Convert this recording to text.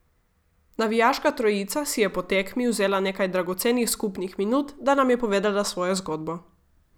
Navijaška trojica si je po tekmi vzela nekaj dragocenih skupnih minut, da nam je povedala svojo zgodbo.